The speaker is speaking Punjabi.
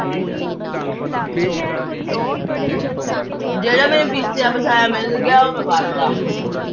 ਜਿਹੜਾ ਮੈਨੂੰ ਪੀਸਿਆਂ ਪੀਸਾਇਆ ਮਿਲ ਗਿਆ, ਉਹ ਮੈਂ ਪਾ ਤਾ।